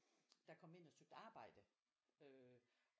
Der kom ind og søgte arbejde